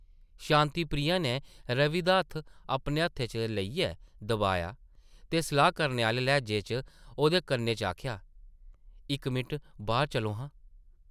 शांति प्रिया नै रवि दा हत्थ अपने हत्थै च लेइयै दबाया ते सलाह् करने आह्ले लैह्जे च ओह्दे कन्नै च आखेआ , ‘‘इक मिंट बाह्र चलो हां ।’’